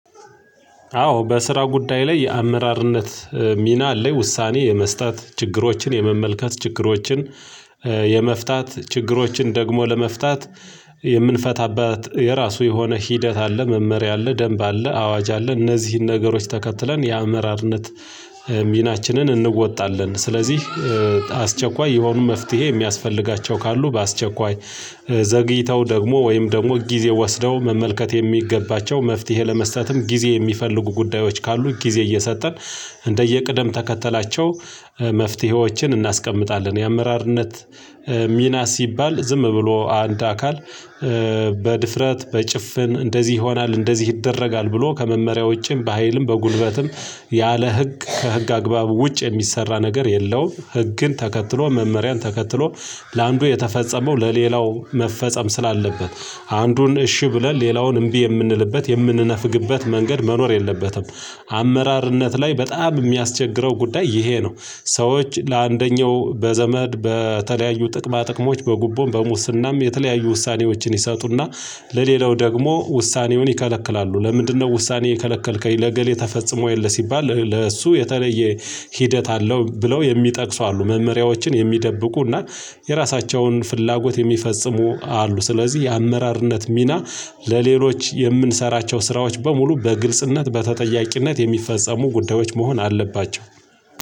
አዎ በስራ ጉዳይ ላይ የአመራርነት ሚና ላይ ውሳኔ የመስጠት ችግሮችን የመመልከት ችግሮችን ኧ የመፍታት ችግሮችን ደግሞ ለመፍታት የምንፈታባት የራሱ የሆነ ሂደት አለ መመሪያ አለ ደንብ አለ አዋጅ አለ እነዚህን ነገሮች ተከትለን የአመራርነት ሚናችንን እንወጣለን። ስለዚህ አስቸኳይ የሆኑ መፍትሄ የሚያስፈልጋቸው ካሉ በአስቸኳይ ዘግይተው ደግሞ ወይም ደሞ ጊዜ ወስደው መመልከት የሚገባቸው መፍትሄ ለመስጠትም ጊዜ የሚፈልጉ ጉዳዮች ካሉ ጊዜ እየሰጠን እንደየቅደም ተከተላቸው መፍትሄዎችን እናስቀምጣለን። የአመራርነት ሚና ሲባል ዝም ብሎ አንድ አካል በድፍረት በጭፍን እንደዚህ ይሆናል እንደዚህ ይደረጋል ብሎ ከመመሪያው ውጪም በሃይልም በጉልበትም ያለ ህግ ከህግ አግባቡ ውጭ የሚሰራ ነገር የለውም። ህግን ተከትሎ መመሪያን ተከትሎ ለአንዱ የተፈጸመው ለሌላው መፈጸም ስላለበት አንዱን እሺ ብለን ሌላውን እምቢ የምንልበት የምንነፍግበት መንገድ መኖር የለበትም። አመራርነት ላይ በጣም የሚያስቸግረው ጉዳይ ይሄ ነው። ሰዎች ለአንደኛው በዘመድ በተለያዩ ጥቅማ ጥቅሞች በጉቦን በሙስናም የተለያዩ ውሳኔዎችን ይሰጡና ለሌላው ደግሞ ውሳኔውን ይከለክላሉ። ለምንድነው ውሳኔ የከለከልከኝ ለእገሌ ተፈጽሞ የለ ሲባል ለእሱ የተለየ ሂደት አለው ብለው የሚጠቅሱ አሉ። መመሪያዎችን የሚደብቁ እና የራሳቸውን ፍላጎት የሚፈጽሙ አሉ። ስለዚህ የአመራርነት ሚና ለሌሎች የምንሰራቸው ስራዎች በሙሉ በግልጽነት በተጠያቂነት የሚፈጸሙ ጉዳዮች መሆን አለባቸው።